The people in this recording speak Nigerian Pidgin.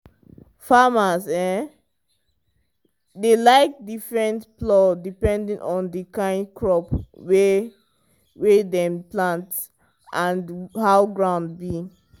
farmers dey like different plow depend on the kind crop wey wey dem plant and how ground be.